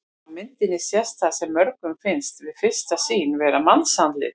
Á myndinni sést það sem mörgum finnst við fyrstu sýn vera mannsandlit.